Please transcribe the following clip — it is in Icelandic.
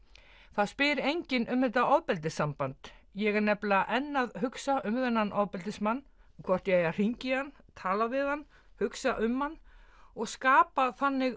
það spyr enginn um þetta ofbeldissamband ég er nefnilega enn að hugsa um þennan ofbeldismann hvort ég eigi að hringja í hann tala við hann hugsa um hann og skapa þannig